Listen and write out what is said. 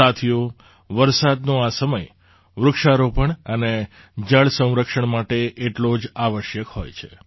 સાથીઓ વરસાદનો આ સમય વૃક્ષારોપણ અને જળ સંરક્ષણ માટે એટલો જ આવશ્યક હોય છે